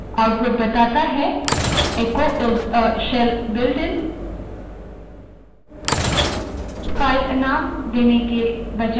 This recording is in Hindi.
output echo को shell बुलेटिन के रूप में दिखाता है echo is a shell builtin